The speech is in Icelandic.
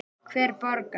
Hver borgar?